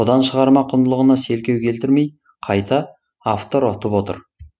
шығарма құндылығына селкеу келтірмей қайта автор ұтып отыр